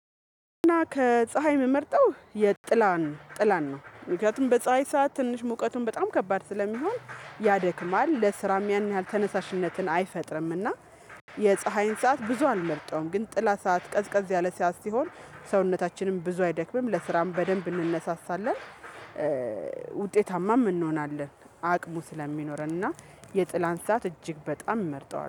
እና ከፀሀይ የምመርጠው የጥላን ጥላን ነው ምክንያቱም በፀሀይ ሰዓት ትንሽ ሙቀቱን በጣም ከባድ ስለሚሆን ያደክማል ለስራም ያን ያህል ተነሳሽነትን አይፈጥርምና የፀሀይን ሰዓት ብዙ አልመርጠውም ግን ጥላ ሰዓት ቀዝቀዝ ያለ ሰዓት ሲሆን ሰውነታችንም ብዙ አይደክምም ለስራም በደንብ እንነሳሳለን ውጤታማም እንሆናለን አቅሙ ስለሚኖረን እና የጥላን ሰዓት እጅግ በጣም መርጠዋልሁ።